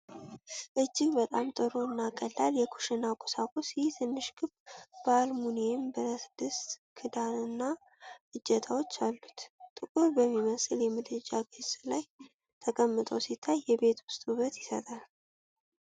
እጅግ በጣም ጥሩ እና ቀላል የኩሽና ቁሳቁስ! ይህ ትንሽ ክብ የአልሙኒየም ብረት ድስት ክዳንና ሁለት እጀታዎች አሉት፤ ጥቁር በሚመስል የምድጃ ገጽ ላይ ተቀምጦ ሲታይ የቤት ውስጥ ውበት ይሰጣል።